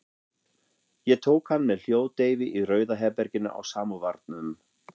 Ég tók hann með hljóðdeyfi í Rauða herberginu á Samóvarnum.